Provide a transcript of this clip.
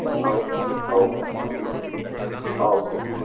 ஒஹ் ஒஹ் ஒஹ்